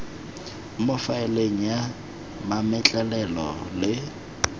mo faeleng ya mametlelelo le